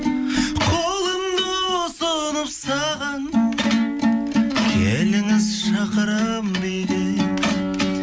қолымды ұсынып саған келіңіз шақырамын биге